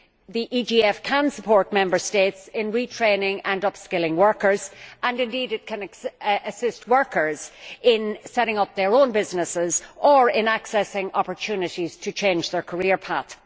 The EGF can support Member States in retraining and upskilling workers, and indeed it can assist workers in setting up their own businesses or in accessing opportunities to change their career path.